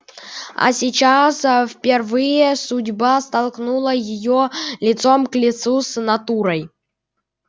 а сейчас впервые судьба столкнула её лицом к лицу с натурой